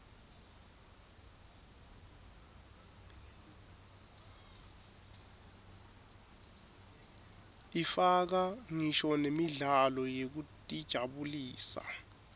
ifaka ngisho nemidlalo yekutijabulisa